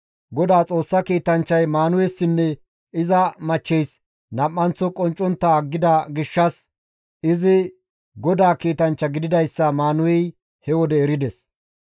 Godaa Xoossa kiitanchchay Maanuhessinne iza machcheys nam7anththo qonccontta aggida gishshas izi GODAA kiitanchcha gididayssa Maanuhey he wode erides.